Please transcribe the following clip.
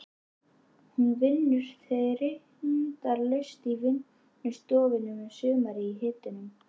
Hún vinnur þindarlaust í vinnustofunni um sumarið í hitunum.